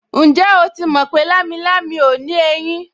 Ǹjẹ́ o ti mọ̀ pé lámilámi ò ní ẹyín